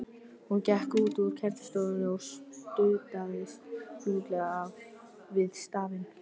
Hún gekk út úr kennslustofunni og studdist þunglega við stafinn.